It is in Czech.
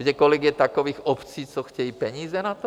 Víte, kolik je takových obcí, co chtějí peníze na to?